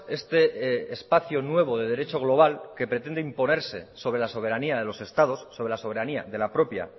este espacio nuevo de derechos global que pretende imponerse sobre la soberanía de los estados sobre la soberanía de la propia